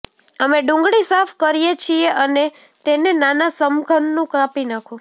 અમે ડુંગળી સાફ કરીએ છીએ અને તેને નાના સમઘનનું કાપી નાખો